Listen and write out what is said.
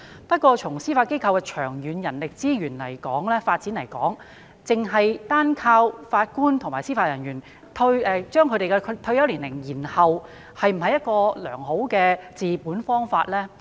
不過，從司法機構長遠的人力資源發展角度來看，單靠延展法官及司法人員的退休年齡，是否一個理想的治本方法呢？